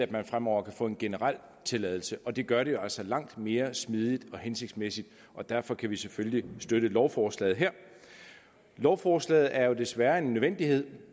de fremover kan få en generel tilladelse og det gør det altså langt mere smidigt og hensigtsmæssigt og derfor kan vi selvfølgelig støtte lovforslaget lovforslaget er desværre en nødvendighed